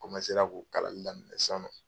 N k'u kalali daminɛ sisannɔ.